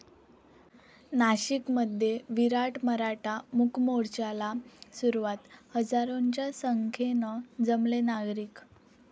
नाशिकमध्ये विराट मराठा मूकमोर्चाला सुरुवात, हजारोंच्या संख्येनं जमले नागरिक